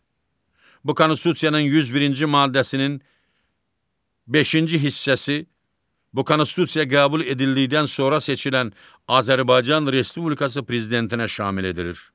Bu Konstitusiyanın 101-ci maddəsinin beşinci hissəsi bu Konstitusiya qəbul edildikdən sonra seçilən Azərbaycan Respublikası Prezidentinə şamil edilir.